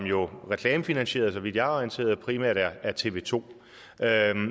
jo er reklamefinansieret så vidt jeg er orienteret og primært er tv to